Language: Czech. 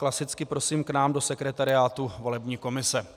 Klasicky prosím k nám do sekretariátu volební komise.